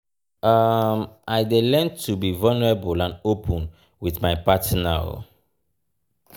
um i dey learn to be vulnerable and open with my partner.